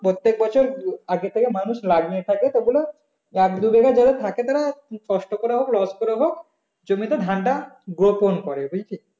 প্রত্যেক বছর আগে থেকে মানুষ লাভ নিয়ে থাকে তো ওগুলো এক দু বিঘা যাদের থাকে তারা কষ্ট করে হোক loss করে হোক জমিতে গোপন করে বুঝলি